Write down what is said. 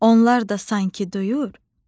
Onlar da sanki duyur,